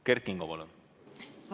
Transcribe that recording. Kert Kingo, palun!